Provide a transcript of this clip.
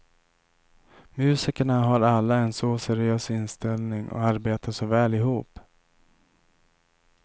Musikerna har alla en så seriös inställning och arbetar så väl ihop.